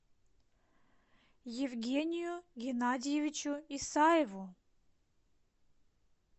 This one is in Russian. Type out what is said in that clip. евгению геннадьевичу исаеву